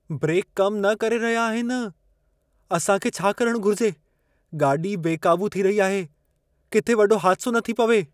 Brake कम न करे रहिया आहिनि। असां खे छा करणु घुर्जे? गाॾी बेक़ाबू थी रही आहे। किथे वॾो हादिसो न थी पवे।